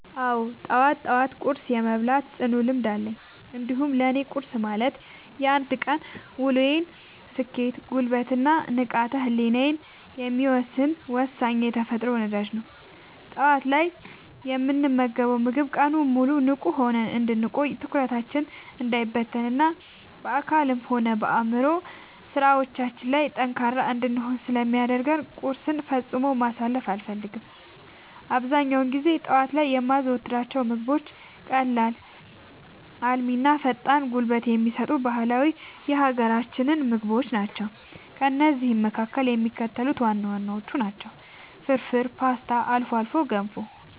አዎ፣ ጠዋት ጠዋት ቁርስ የመብላት ጽኑ ልምድ አለኝ። እንዲያውም ለእኔ ቁርስ ማለት የአንድ ቀን ውሎዬን ስኬት፣ ጉልበት እና ንቃተ ህሊናዬን የሚወሰን ወሳኝ የተፈጥሮ ነዳጅ ነው። ጠዋት ላይ የምንመገበው ምግብ ቀኑን ሙሉ ንቁ ሆነን እንድንቆይ፣ ትኩረታችን እንዳይበታተን እና በአካላዊም ሆነ በአእምሯዊ ስራዎቻችን ላይ ጠንካራ እንድንሆን ስለሚያደርገን ቁርስን ፈጽሞ ማሳለፍ አልፈልግም። አብዛኛውን ጊዜ ጠዋት ላይ የማዘወትራቸው ምግቦች ቀላል፣ አልሚ እና ፈጣን ጉልበት የሚሰጡ ባህላዊ የሀገራችንን ምግቦች ናቸው። ከእነዚህም መካከል የሚከተሉት ዋና ዋናዎቹ ናቸው፦ ፍርፍር: ፖስታ: አልፎ አልፎ ገንፎ